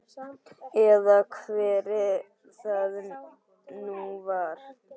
Eða hver það nú var.